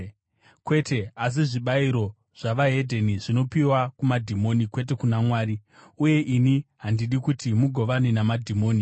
Kwete, asi zvibayiro zvavahedheni zvinopiwa kumadhimoni kwete kuna Mwari, uye ini handidi kuti mugovane namadhimoni.